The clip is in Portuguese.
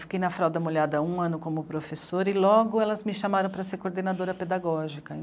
Fiquei na Frauda Mulhada um ano como professora e logo elas me chamaram para ser coordenadora pedagógica.